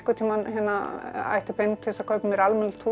ætti pening til að kaupa mér almennilegt hús